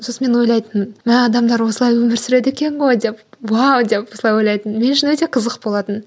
сосын мен ойлайтынмын мә адамдар осылай өмір сүреді екен ғой деп уау деп осылай ойлайтынмын мен үшін өте қызық болатын